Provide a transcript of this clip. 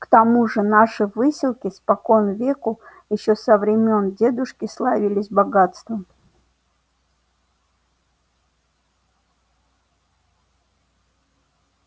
к тому же наши выселки спокон веку ещё со времён дедушки славились богатством